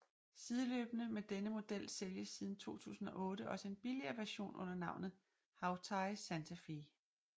Sideløbende med denne model sælges siden 2008 også en billigere version under navnet Hawtai Santa Fe